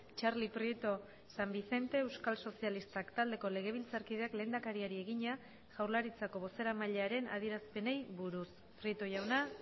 txarli prieto san vicente euskal sozialistak taldeko legebiltzarkideak lehendakariari egina jaurlaritzako bozeramailearen adierazpenei buruz prieto jauna